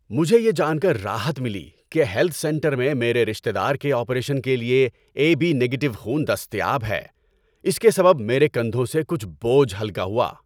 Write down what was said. مجھے یہ جان کر راحت ملی کہ ہیلتھ سنٹر میں میرے رشتے دار کے آپریشن کے لیے اے بی نگیٹو خون دستیاب ہے۔ اس کے سبب میرے کندھوں سے کچھ بوجھ ہلکا ہوا۔